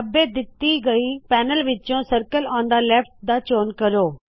ਖੱਬੇ ਦਿੱਤੀ ਹੋਈ ਪੇਨਲ ਵਿੱਚੋ ਸਰਕਲ ਓਨ ਥੇ ਲੈਫਟ ਦਾ ਚੋਣ ਕਰੋ